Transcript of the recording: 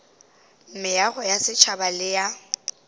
meago ya setšhaba le ya